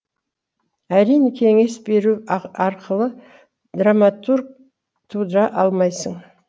әрине кеңес беру арқылы драматург тудыра алмайсың